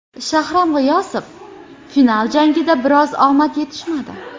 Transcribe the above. Shahram G‘iyosov: Final jangida biroz omad yetishmadi.